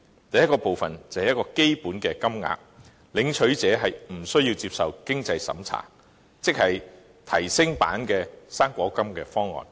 第一部分是基本金額，不設經濟審查，即是提升版的"生果金"方案。